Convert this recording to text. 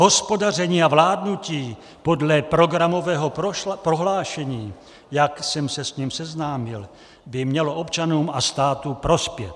Hospodaření a vládnutí podle programového prohlášení, jak jsem se s ním seznámil, by mělo občanům a státu prospět.